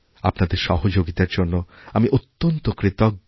আপনাদের সহযোগিতার জন্য আমি অত্যন্ত কৃতজ্ঞ